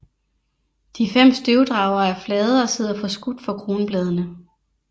De fem støvdragere er flade og sidder forskudt for kronbladene